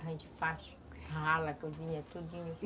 A gente faz rala, cozinha, tudinho.